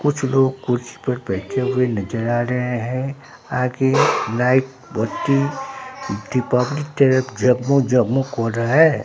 कुछ लोग कुर्सी पर बैठे हुए नजर आ रहे हैं आगे लाइट बत्ती दीपावली तरह जगमग जगमग हो रहा है।